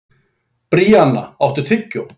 Bríanna, áttu tyggjó?